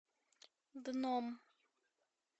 дном